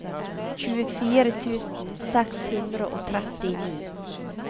tjuefire tusen seks hundre og trettini